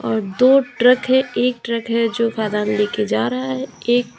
और दो ट्रक है एक ट्रक है जो खदान ले के जा रहा है एक--